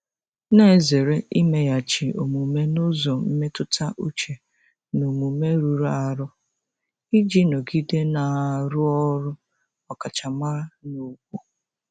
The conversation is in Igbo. na-ezere imeghachi omume n'ụzọ mmetụta uche na omume rụrụ arụ iji nọgide na-arụ ọrụ ọkachamara na ùgwù.